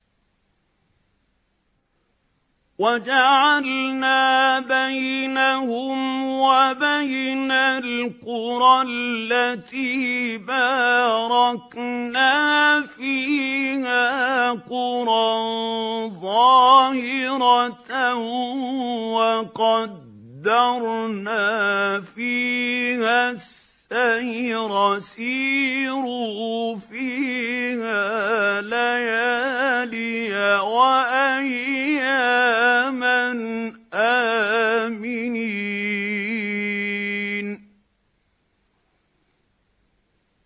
وَجَعَلْنَا بَيْنَهُمْ وَبَيْنَ الْقُرَى الَّتِي بَارَكْنَا فِيهَا قُرًى ظَاهِرَةً وَقَدَّرْنَا فِيهَا السَّيْرَ ۖ سِيرُوا فِيهَا لَيَالِيَ وَأَيَّامًا آمِنِينَ